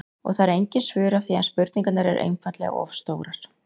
Og það eru engin svör af því að spurningarnar eru einfaldlega of stórar.